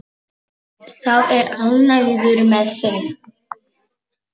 Sá er ánægður með þig!